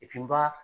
n ba